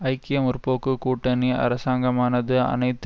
ஐக்கிய முற்போக்கு கூட்டணி அரசாங்கமானது அனைத்து